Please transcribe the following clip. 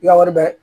I ka wari bɛ